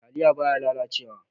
Taliya baya lalace wa.